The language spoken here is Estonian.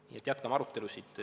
Nii et jätkame arutelusid.